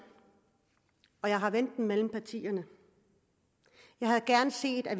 og jeg har vendt det med partierne jeg havde gerne set at